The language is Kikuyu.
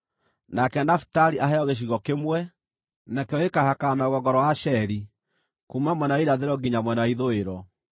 “Nake Nafitali aheo gĩcigo kĩmwe; nakĩo gĩkaahakana na rũgongo rwa Asheri kuuma mwena wa irathĩro nginya mwena wa ithũĩro.